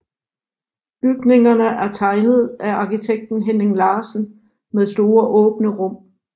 Bygningerne er er tegnet af arkitekten Henning Larsen med store åbne rum